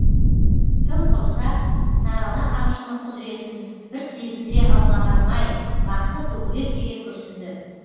тым құрыса сарыала қамшының құдіретін бір сезіндіре алмағаным ай бақсы көкірек кере күрсінді